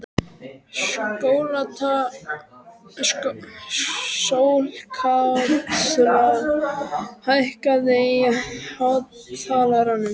Sólkatla, hækkaðu í hátalaranum.